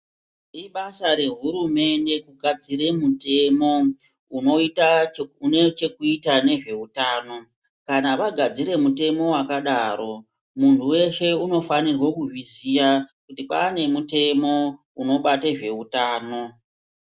Ibasa re hurumende ku gadzire mitemo une chekuita nezve utano kana vagadzire mutemo wakadaro muntu weshe unofanirwe kuzvi ziya kuti kwane mutemo unobate zveutano.